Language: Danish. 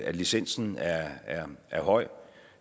licensen er er høj